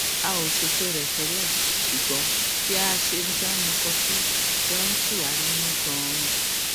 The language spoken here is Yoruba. a ò ṣètò rè tẹlẹ ṣùgbón bí a ṣe jọ ń mu kọfí jọ ń tù wá nínú ganan